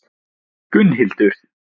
Gunnhildur